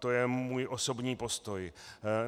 To je můj osobní postoj.